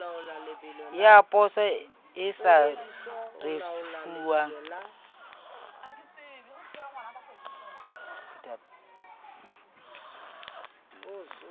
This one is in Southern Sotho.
ya poso e sa risefuwang